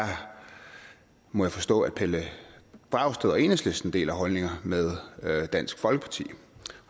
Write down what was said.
må jeg forstå at pelle dragsted og enhedslisten deler holdninger med dansk folkeparti